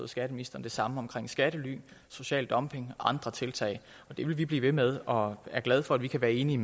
skatteministeren det samme omkring skattely social dumping og andre tiltag og det vil vi blive ved med og er glade for at vi kan være enige